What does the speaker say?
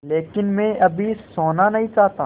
लेकिन मैं अभी सोना नहीं चाहता